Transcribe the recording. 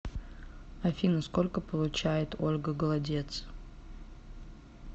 афина сколько получает ольга голодец